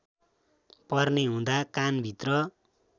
पर्ने हुँदा कानभित्र